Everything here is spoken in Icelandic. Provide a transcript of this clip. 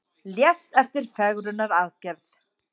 Lést eftir fegrunaraðgerð